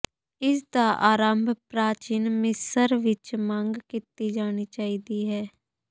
ਇਸ ਦਾ ਆਰੰਭ ਪ੍ਰਾਚੀਨ ਮਿਸਰ ਵਿਚ ਮੰਗ ਕੀਤੀ ਜਾਣੀ ਚਾਹੀਦੀ ਹੈ